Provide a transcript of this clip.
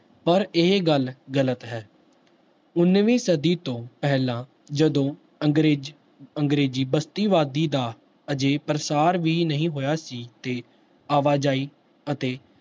ਪਰ ਇਹ ਗੱਲ ਗ਼ਲਤ ਹੈ, ਉੱਨਵੀਂ ਸਦੀ ਤੋਂ ਪਹਿਲਾਂ ਜਦੋਂ ਅੰਗਰੇਜ਼ ਅੰਗਰੇਜ਼ੀ ਬਸਤੀਵਾਦੀ ਦਾ ਅਜੇ ਪ੍ਰਸਾਰ ਵੀ ਨਹੀਂ ਹੋਇਆ ਸੀ ਤੇ ਆਵਾਜ਼ਾਈ ਅਤੇ